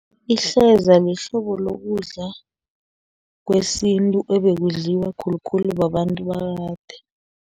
Ihleza lihlobo lokudla, kwesintu ebekudliwa khulukhulu babantu bakade.